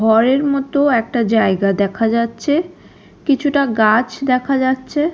ঘরের মতো একটা জায়গা দেখা যাচ্ছে কিছুটা গাছ দেখা যাচ্ছে।